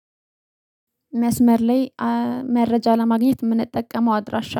መስመር ላይ መረጃ ለማግኘት የምንጠቀመው አድራሻ